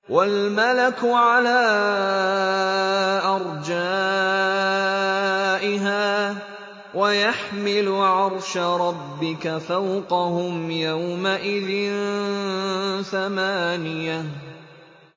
وَالْمَلَكُ عَلَىٰ أَرْجَائِهَا ۚ وَيَحْمِلُ عَرْشَ رَبِّكَ فَوْقَهُمْ يَوْمَئِذٍ ثَمَانِيَةٌ